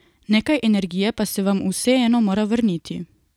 Nekaj energije pa se vam vseeno mora vrniti.